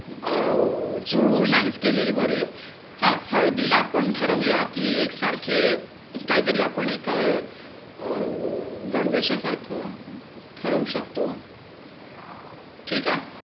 अं चूळमूळ नाहीच केलेली बरी. हा हळदीला आपण ठरवूया कि एकसारखे काहीतरी आपण एक अं गणवेषा सारौं ठरवू शकतो. ठीक आहे.